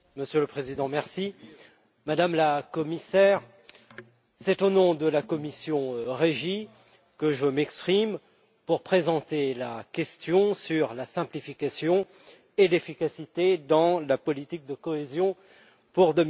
Monsieur le Président, Madame la Commissaire, c'est au nom de la commission REGI que je m'exprime pour présenter la question de la simplification et de l'efficacité de la politique de cohésion pour